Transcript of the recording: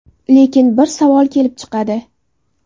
Lekin bir savol kelib chiqadi.